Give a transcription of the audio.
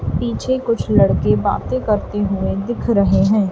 पीछे कुछ लड़के बातें करते हुए दिख रहे हैं।